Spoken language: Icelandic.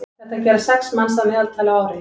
þetta gera sex manns að meðaltali á ári